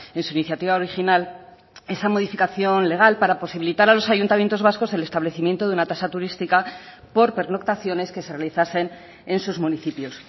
en su iniciativa original esa modificación legal para posibilitar a los ayuntamientos vascos el establecimiento de una tasa turística por pernoctaciones que se realizasen en sus municipios